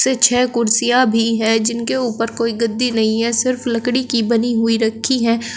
तो छः कुर्सियां भी है जिनके उपर कोई गद्दी नहीं है सिर्फ लड़की की बनी हुई रखी है।